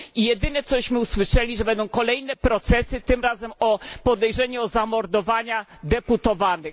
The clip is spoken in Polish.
Jedyne, co usłyszeliśmy, to że będą kolejne procesy, tym razem o podejrzenie zamordowania deputowanych.